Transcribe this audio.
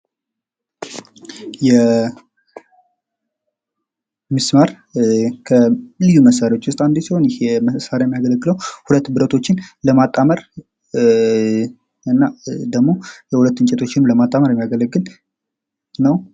ሚስማር ከልዩ ልዩ መሣሪያዎች መካከል ሲሆን ይህ መሳሪያ የሚያገለግለው ሁለት ብረቶችን ለማጣመር እና ደግሞ ሁለት እንጨቶችን ለማጣመር የሚያገለግል